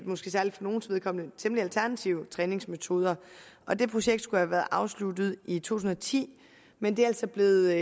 måske særligt for nogles vedkommende temmelig alternative træningsmetoder og det projekt skulle have været afsluttet i to tusind og ti men det er altså blevet